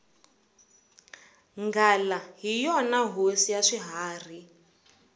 nghala hi yona hosi ya swiharhi